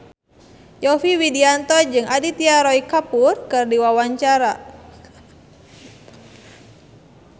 Yovie Widianto jeung Aditya Roy Kapoor keur dipoto ku wartawan